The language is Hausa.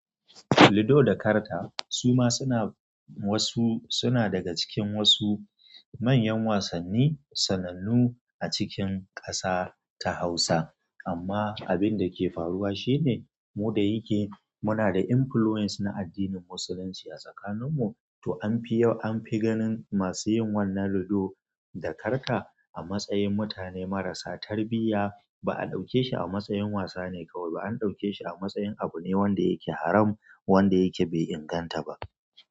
Ludo da karta suma suna wasu, suna daga cikin wasu manyan wasanni sanannu a cikin ƙasa ta Hausa. Amma abin da ke faruwa shine mu da yake muna da influence na addinin Musulunci a tsakanin mu, to an fi yawa an fi ganin masu yin wannan ludo da karta a matsayin mutane marasa tarbiyya. Ba a ɗauke shi a matsayin wasa ne kawai ba, an ɗauke shi a matsayin abu ne wanda yake haram, wanda yake bai inganta ba.